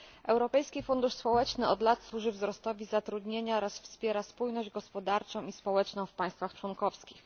Europejski Fundusz Społeczny od lat służy wzrostowi zatrudnienia oraz wspiera spójność gospodarczą i społeczną w państwach członkowskich.